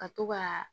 Ka to ka